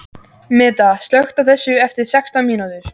Meda, slökktu á þessu eftir sextán mínútur.